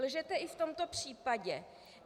Lžete i v tomto případě.